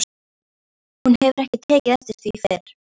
Hún hefur ekki tekið eftir því fyrr.